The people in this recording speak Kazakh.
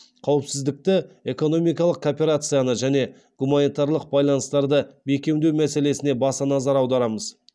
қауіпсіздікті экономикалық кооперацияны және гуманитарлық байланыстырды бекемдеу мәселесіне баса назар аударамыз